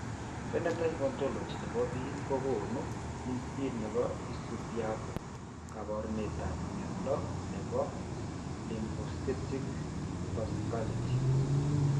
Phenotype Ontology ne po biik ko konu listiit ne isubiap kaabarunetap mnyando ne po Lymphocytic vasculitis.